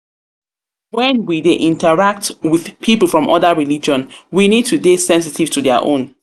we dey interact with pipo from oda religion we need to dey sensitive to their own